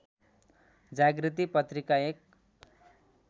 जागृति पत्रिका एक